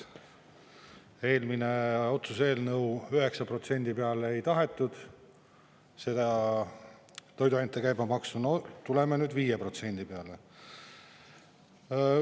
Eelmine otsuse eelnõu, 9% peale ei tahetud seda toiduainete käibemaksu, no tuleme nüüd 5% peale.